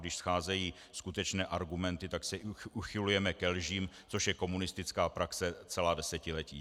Když scházejí skutečné argumenty, tak se uchylujeme ke lžím, což je komunistická praxe celá desetiletí.